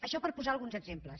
això per posar alguns exemples